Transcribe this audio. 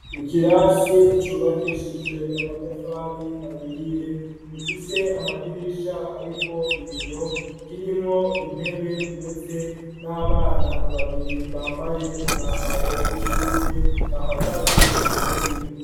Ikirasi c'ubakishijwe amatafari ahiye gifise amadirisha ariko ibiyo kirimwo intebe ndetse n'abana babiri bambaye umwamabro wishure bahagaze kuntebe imwe.